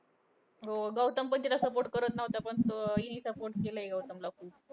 हो गौतम पण तिला support करत नव्हता. पण हिने support केलाय. गौतम ला खूप